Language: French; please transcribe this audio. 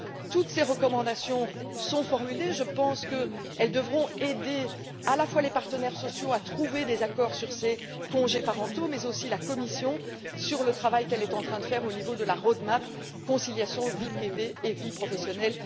Toutes ces recommandations sont formulées, et je pense qu'elles devraient aider à la fois les partenaires sociaux à trouver des accords sur ces congés parentaux, mais aussi la Commission dans le travail qu'elle est en train de réaliser dans le cadre de la roadmap sur la conciliation entre vie privée et vie professionnelle.